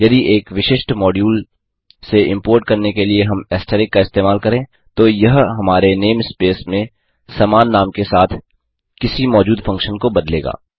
यदि एक विशिष्ट मॉड्यूल से इम्पोर्ट करने के लिए हम ऐस्टरिस्क का इस्तेमाल करें तो यह हमारे नेम स्पेस में समान नाम के साथ किसी मौजूद फंक्शन को बदलेगा